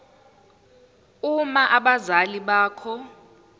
uma abazali bakho